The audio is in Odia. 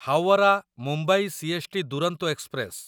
Howrah Mumbai CST Duronto express